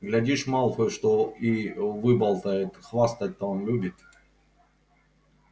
глядишь малфой что и выболтает хвастать-то он любит